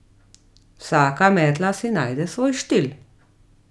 Vsaka metla si najde svoj štil.